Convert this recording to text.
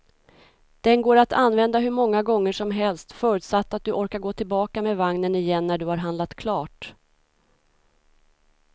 Den går att använda hur många gånger som helst, förutsatt att du orkar gå tillbaka med vagnen igen när du har handlat klart.